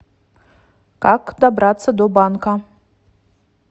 как добраться до банка